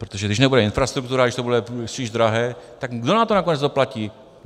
Protože když nebude infrastruktura, když to bude spíš drahé, tak kdo na to nakonec doplatí?